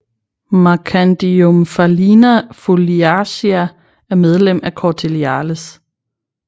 Marchandiomphalina foliacea er medlem af Corticiales